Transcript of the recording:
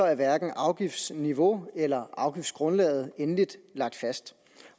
er hverken afgiftsniveau eller afgiftsgrundlag endeligt lagt fast